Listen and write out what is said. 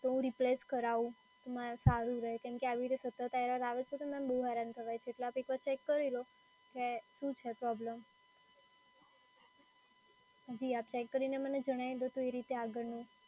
તો હું replace કરાઉ, તો મારે સારું રે. કેમ કે મારે આ રીતે સતત error આવે છે તો મેડમ બઉ હેરાન થવાય છે. એટલે આપ એક વાર ચેક કરી લો કે શું છે પ્રોબ્લેમ? જી, આપ ચેક કરીને મને જણાઈ દો તો એ રીતે આગળનું